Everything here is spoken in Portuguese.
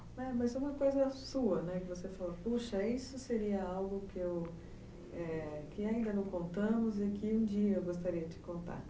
Mas é uma coisa sua, né, que você falou, puxa, isso seria algo que ainda não contamos e que um dia eu gostaria de contar.